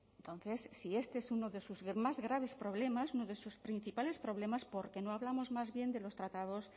entonces si este es uno de sus más graves problemas uno de sus principales problemas por qué no hablamos más bien de los tratados